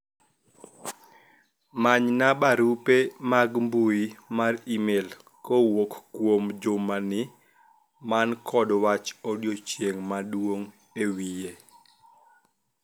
manyna barupe mag mbui mar email kowuok kuom Juma mani kod wach owdochieng maduong' ewiye